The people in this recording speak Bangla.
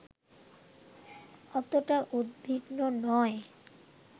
অতটা উদ্বিগ্ন নয়